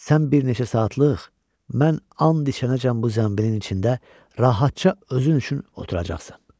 Sən bir neçə saatlıq, mən an içənəcən bu zənbilin içində rahatca özün üçün oturacaqsan.